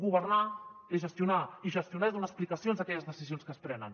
governar és gestionar i gestionar és donar explicacions d’aquelles decisions que es prenen